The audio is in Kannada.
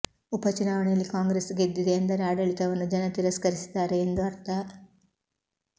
ಉಪ ಚುನಾವಣೆಯಲ್ಲಿ ಕಾಂಗ್ರೆಸ್ ಗೆದ್ದಿದೆ ಎಂದರೆ ಆಡಳಿವನ್ನು ಜನ ತಿರಸ್ಕರಿಸಿದ್ದಾರೆ ಎಂದು ಅರ್ಥ